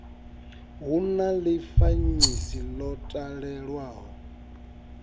hu na ḽifanyisi ḽo talelwaho